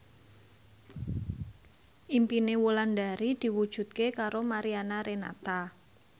impine Wulandari diwujudke karo Mariana Renata